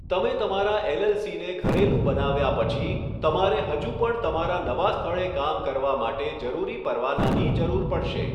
તમે તમારા એલએલસીને ઘરેલું બનાવ્યા પછી, તમારે હજુ પણ તમારા નવા સ્થળે કામ કરવા માટે જરૂરી પરવાનાની જરૂર પડશે.